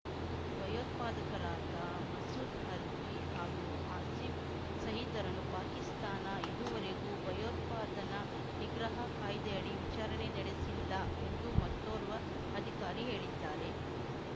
ಭಯೋತ್ಪಾದಕರಾದ ಮಸೂದ್‌ ಅರ್ಜಿ ಹಾಗೂ ಹಸಿಫ್ ಸಹೀದ್‌ರನ್ನು ಪಾಕಿಸ್ತಾನ ಇದುವರೆಗೂ ಭಯೋತ್ಪಾದನಾ ನಿಗ್ರಹ ಕಾಯ್ದೆಯಡಿ ವಿಚಾರಣೆ ನಡೆಸಿಲ್ಲ ಎಂದು ಮತ್ತೋರ್ವ ಅಧಿಕಾರಿ ಹೇಳಿದ್ದಾರೆ